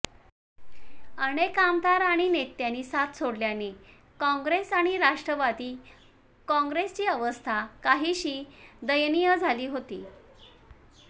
अनेक आमदार आणि नेत्यांनी साथ सोडल्याने कॉंग्रेस आणि राष्ट्रवादी कॉंग्रेसची अवस्था काहीशी दयनीय झाली होती